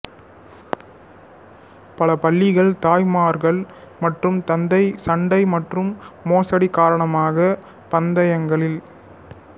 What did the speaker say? பல பள்ளிகள் தாய்மார்கள் மற்றும் தந்தைகள் சண்டை மற்றும் மோசடி காரணமாக பந்தயங்களில்